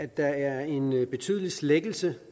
der er en betydelig slækkelse